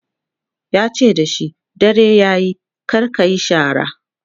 yace da shi "dare yayi kar kayi shara!"